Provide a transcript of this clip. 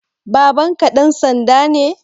Babanka ɗan sanda ne?